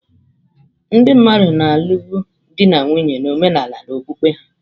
Ndị mmadụ na-alụbu di na nwunye na omenala na okpukpe ha.